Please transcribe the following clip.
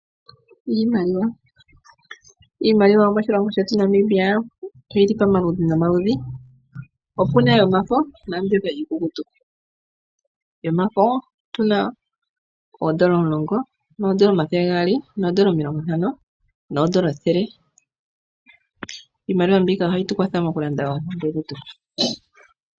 Iimaliwa Iimaliwa yomoshilongo shetu Namibia oyili pamaludhi nomaludhi, po puna yomafo naambyoka iikukutu. Yomafo otuna oondola omulongo, noondola omathele gaali, noondola omilongo ntano, noondola ethele. Iimaliwa mbika ohayi tu kwatha moku landa oompumbwe dhetu.